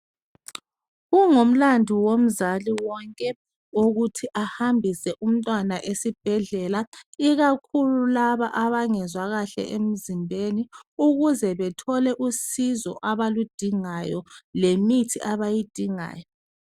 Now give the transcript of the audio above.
Kungumlandu womzali wonke wokuthi ahambise umntwana esibhedlela ikakhulu laba abangezwa kahle emzimbeni ukuze bethole usizo abaludingayo lemithi abayidingayo